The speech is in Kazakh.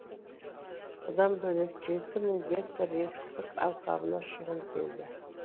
бұдан бөлек жеті мың гектар егістік алқабына шығын келді